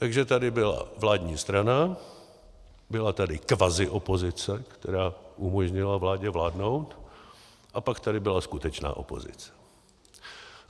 Takže tady byla vládní strana, byla tady kvaziopozice, která umožnila vládě vládnout, a pak tady byla skutečná opozice.